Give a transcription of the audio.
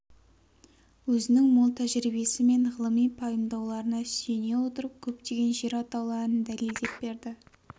өзінің мол тәжірибесі мен ғылыми пайымдауларына сүйене отырып көптеген жер атауларын дәлелдеп берді